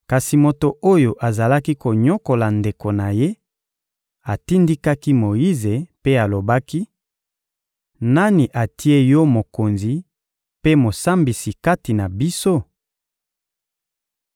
Kasi moto oyo azalaki konyokola ndeko na ye atindikaki Moyize mpe alobaki: «Nani atie yo mokonzi mpe mosambisi kati na biso?